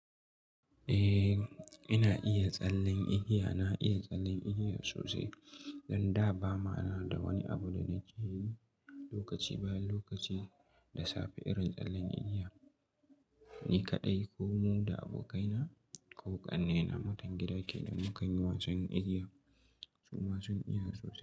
Eh, ina iya tsallen igiya. Na iya tsallen igiya sosai. Dan da bama da wani abu da muke yi lokaci bayan lokaci da safe ina tsallen igiya. Ni kaɗai ko mu da abokaina ko ƙannena matan gida kenan mukanyi wasan igiya. Su ma sun iya sosai.